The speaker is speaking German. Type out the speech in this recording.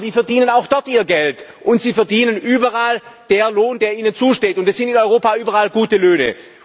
Aber die verdienen auch dort ihr Geld, und sie verdienen überall den Lohn, der ihnen zusteht, und das sind in Europa überall gute Löhne.